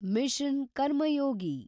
mission Karmayogi